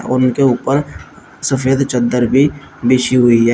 उनके ऊपर सफेद चद्दर भी बिछी हुई है।